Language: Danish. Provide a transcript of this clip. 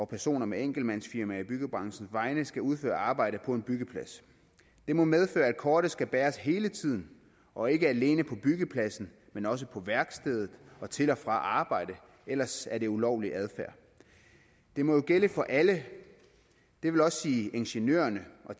personer med enkeltmandsfirmaer i byggebranchen skal udføre arbejde på en byggeplads det må medføre at kortet skal bæres hele tiden og ikke alene på byggepladsen men også på værkstedet og til og fra arbejde ellers er det ulovlig adfærd det må jo gælde for alle det vil også sige ingeniørerne og